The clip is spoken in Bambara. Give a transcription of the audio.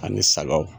Ani sagaw